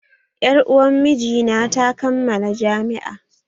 Yar uwan miji na ta kammala jami'a